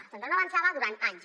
el centre no avançava durant anys